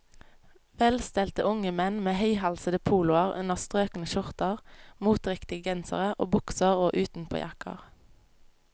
Velstelte unge menn med høyhalsede poloer under strøkne skjorter, moteriktige gensere og bukser og utenpåjakker.